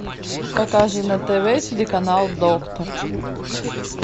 покажи на тв телеканал доктор